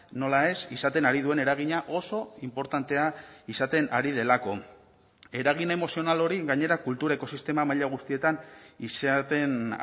nola ez izaten ari duen eragina oso inportantea izaten ari delako eragin emozional hori gainera kulturako sistema maila guztietan izaten